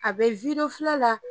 A be wido filɛ la